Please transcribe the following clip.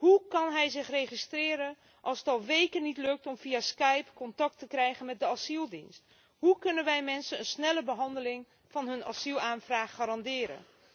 Hoe kan hij zich registreren als het al weken niet lukt om via Skype contact te krijgen met de asieldienst? Hoe kunnen wij mensen een snelle behandeling van hun asielaanvraag garanderen?